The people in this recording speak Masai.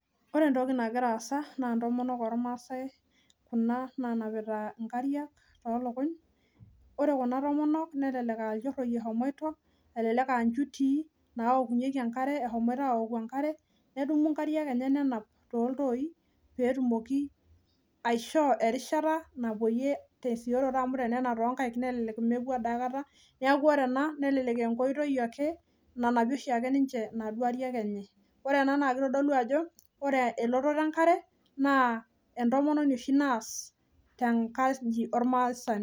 Ore etoki nagira aasa naa, itomonok ormaasae kuna nanapita inkariak tolukuny. Ore kuna tomonok nelelek, ah ilchoroi eshomoito elelek ah, ichutii nawokunyieki enkare eshomoito aawoku enkare, nedumu inkariak enche nenap tooltoi, peetumoki aishoo erishata napoyie tesioroto amu, ore peenap toonkaik nelelek mepuo aikata. Neaku ore ena, nelelek enkoitoi ake nanapie oshiake ninche inkariak enye. Ore ena naa kitodolu ajo, ore elototo enkare naa, etomononi oshi naas tenkaji ormasaani.